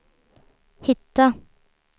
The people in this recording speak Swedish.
hitta